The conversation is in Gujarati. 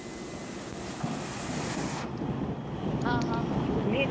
હ હ જોઈ